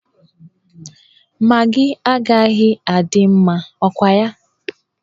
Magị agaghị adị mma, ọ kwa ya?